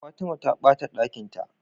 Fatima ta bata Ɗakinta